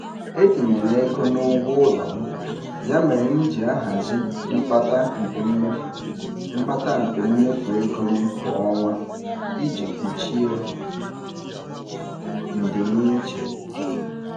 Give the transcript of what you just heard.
E tinyere ego n'ụgwọ ụlọ m, ya mere m jị ahazi mkpata nke mmefu mkpata nke mmefu ego m kwa ọnwa iji kpuchie ndimiiche.